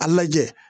A lajɛ